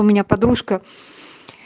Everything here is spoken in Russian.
у меня подружка